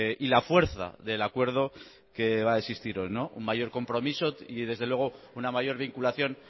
y la fuerza del acuerdo que va a existir hoy un mayor compromiso y desde luego una mayor vinculación